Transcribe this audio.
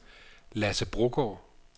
Lasse Brogaard